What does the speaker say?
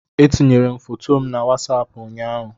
Etinyere m foto m na wasapụ ụnyaahụ